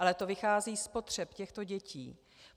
Ale to vychází z potřeb těchto dětí.